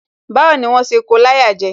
Báwo ni wón ṣe ko láyà jẹ?